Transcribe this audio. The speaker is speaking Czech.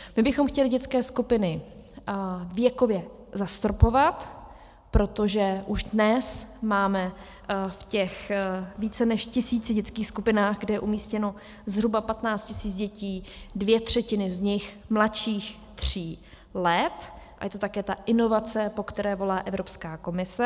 My bychom chtěli dětské skupiny věkově zastropovat, protože už dnes máme v těch více než tisíci dětských skupinách, kde je umístěno zhruba 15 tisíc dětí, dvě třetiny z nich mladších tří let, a je to také ta inovace, po které volá Evropská komise.